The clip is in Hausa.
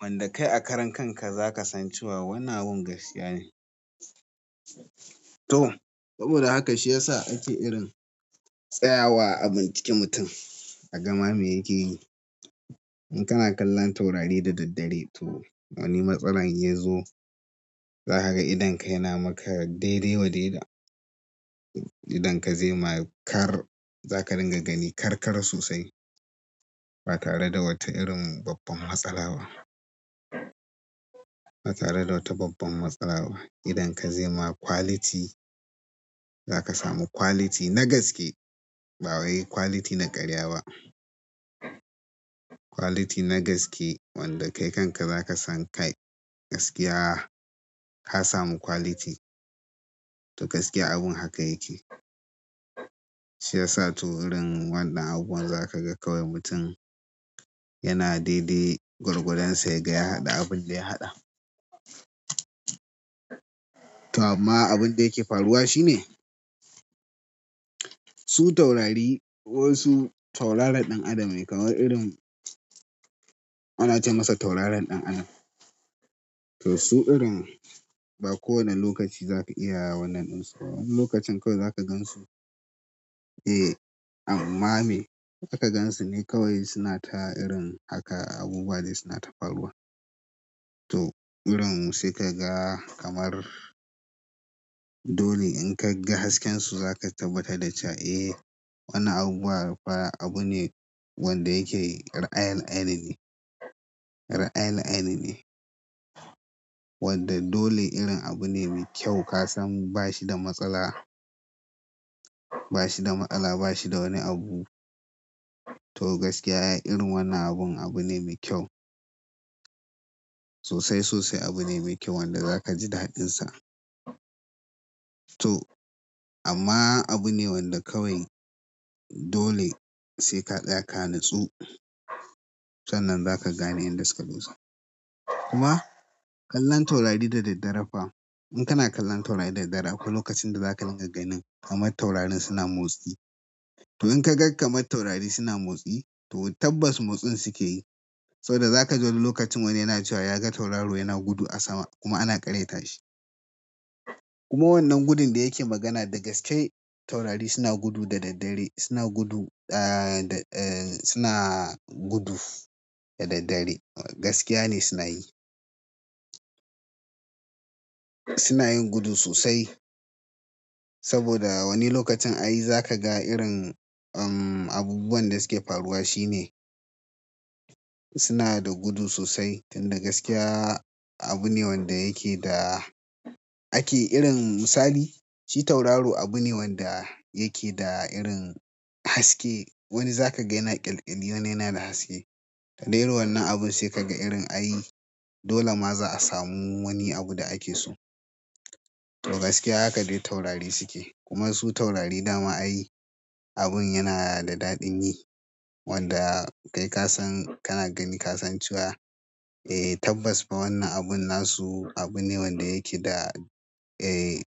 Wanda kai a karan kanka za ka san cewa wannan abin gaskiya ne. To saboda haka shi ya sa ake irin tsaya wa a binciki mutum a gama me yake yi. In kana kallon taurari da daddare to wani matsala ya zo, za ka ga idonka yana maka daidai wa daida. Idonka zai ma kar-- za ka dinga gani karkara sosai ba tare da wata irin babban matsala ba. Ba tare da wata babban matsala ba. Idon ka zai ma quality, za ka samu quality na gaske ba wai quality na karya ba. Quality na gaskiya wanda kai kanka za ka san kai gaskiya ka samu quality. To gaskiya abun haka yake. Shi ya sa to irin wannan abubuwan zan ka ga kawai mutum yana daidai gwargwadon sa ya ga ya haɗa abin da ya haɗa. To amma abin da yake faruwa shi ne, su taurari wasu taurarin ɗan adam ne kaman irin ana ce masa taurarin ɗan adam. To su irin ba kowani lokaci za ka iya wa wannan ɗin su. Wani lokacin kawai za ka gan su. Eh, amma me za ka gan su ne kawai suna ta irin haka abubuwa dai suna tafaruwa. To irin sai ka ga kamar dole in ka ga hasken su za ka tabbatar da cewa eh wannan abubuwa fa abu ne wanda yake ra'ayal ainihi. Ra'ayal ainihi. Wanda dole irin abu ne mai kyau ka san bashi da matsala, bashi da matsala bashi da wani abu. To gaskiya irin wannan abun abu ne mai kyau. Sosai sosai abu ne mai kyau wanda za ka ji daɗinsa. To amma abu ne wanda kawai dole sai ka saya ka nitsu. Sannan za ka gane inda suka dusa. Kuma kallon taurari da daddare fa in kana kallon taurari da daddare akwai lokacin da za ka dinga ganin kamar taurarin suna motsi. To in ka ga kamar taurari suna motsi to tabbas motsin su ke yi. Saboda za ka ga wani lokacin wani yana cewa ya ga tauraro yana gudu a sama kuma ana ƙaryata shi. Kuma wannan gudun da yake magana da gaske taurari suna gudu da daddare, suna gudu, ah, da, eh suna gudu da daddare. Gaskiya ne suna yi. Suna yin gudu sosai. Saboda wani lokacin ai za ka ga irin, um, abubuwan da su ke faruwa shi ne suna da gudu sosai tunda gaskiya abu ne wanda yake da ake irin misali shi tauraru abu ne wanda yake da irin haske. Wani za ka ga yana ƙyalƙyali wani ya na da haske. Da irin wannan abun sai kaga irin ai, dole ma za a samu wani abu da ake so. To gaskiya haka dai taurari su ke. Kuma su taurari dama ai abun yana da daɗin yi wanda kai ka san kana gani ka san cewa, eh tabbas fa wannan abun na su abu ne wanda yake da, eh.